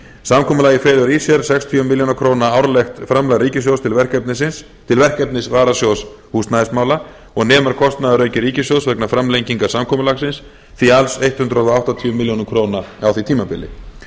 samkomulagið felur í sér sextíu milljónir króna árlegt framlag ríkissjóðs til verkefnis varasjóðs húsnæðismála og nemur kotnaðarauki ríkissjóðs vegna framlengingar samkomulagsins því alls hundrað áttatíu milljónir króna á því tímabili